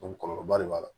kɔlɔlɔba de b'a la